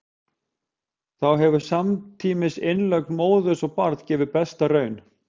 þá hefur samtímis innlögn móður og barns gefið besta raun